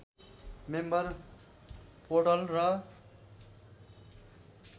member portal र